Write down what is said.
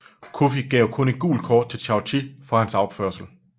Coffi gav kun et gult kort til Chaouchi for hans opførsel